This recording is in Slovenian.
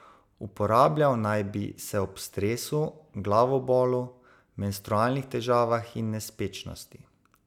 Uporabljal naj bi se ob stresu, glavobolu, menstrualnih težavah in nespečnosti.